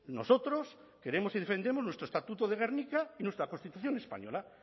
nosotros queremos y defendemos nuestro estatuto de gernika y nuestra constitución española